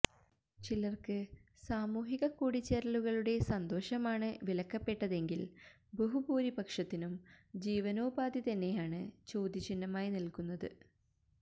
ചിലര്ക്ക് സാമൂഹിക കൂടിച്ചേരലുകളുടെ സന്തോഷമാണ് വിലക്കപ്പെട്ടതെങ്കില് ബഹുഭൂരിപക്ഷത്തിനും ജീവനോപാധിതന്നെയാണ് ചോദ്യചിഹ്നമായി നില്ക്കുന്നത്